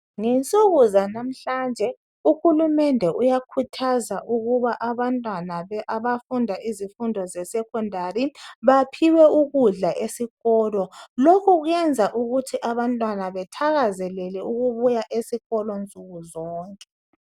Ngensuku zanamhlanja uhulumende uyakhuthaza ukuba abantwana abafunda ezifundo zesekhondari baphiwe ukudla esikolo lokhu kwenza ukuthi abantwana bathakazelele ukubuya besikolo nsukuzonke.